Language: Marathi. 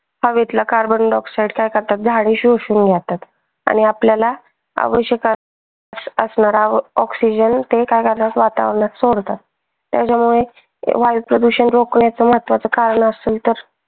हवेतला carbon dioxide काय करतात झाडे शोषून जातात आणि आपल्याला आवश्यक असणारा oxygen ते काय करतात वातावरणात सोडतात, त्याच्यामुळे वायुप्रदूषण रोखण्याच महत्वाच कारण असेल तर